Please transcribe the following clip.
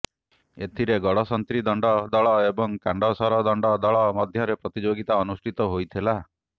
ଏଥିରେ ଗଡ଼ସନ୍ତ୍ରୀ ଦଣ୍ଡ ଦଳ ଏବଂ କାଣ୍ଡସର ଦଣ୍ଡ ଦଳ ମଧ୍ୟରେ ପ୍ରତିଯୋଗିତା ଅନୁଷ୍ଠିତ ହୋଇଥିଲା